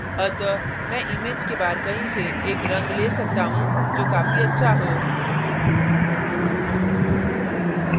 अतः मैं image के बाहर कहीं से एक रंग so सकता हूँ जो काफी अच्छा हो